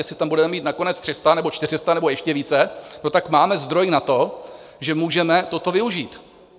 Jestli tam budeme mít na konec 300 nebo 400 nebo ještě více, tak máme zdroj na to, že můžeme toto využít.